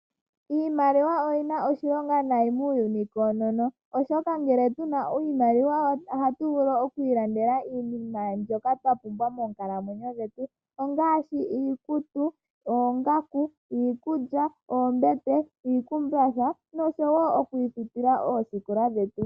Iimaliwa oyina oshilonga nayi muuyuni koonono oshoka ngele tuna iimaliwa ohatu vulu okwiilandela iinima mbyoka twapumbwa moonkalamwenyo dhetu ongaashi iikutu, oongaku, iikulya, oombete, iikumbatha nosho woo okwiifutila oosikola dhetu.